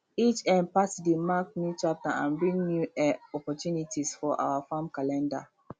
each um party dey mark new chapter and bring new um opportunities for our farm calender